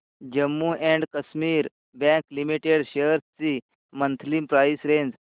Jammu and Kashmir bank limited shares ची monthly price range